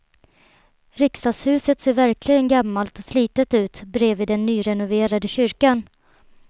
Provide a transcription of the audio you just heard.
Riksdagshuset ser verkligen gammalt och slitet ut bredvid den nyrenoverade kyrkan.